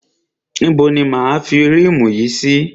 Ibo ni máa a fi rímù yìí sí?